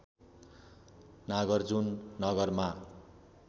नागार्जुन नगरमा